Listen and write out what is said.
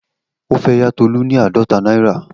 O fe ya Tolu ni aadọta naira.